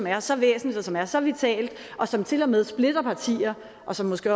er så væsentligt og som er så vitalt og som til og med splitter partier og som måske